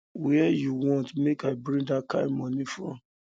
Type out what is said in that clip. where you want make i bring dat kin money from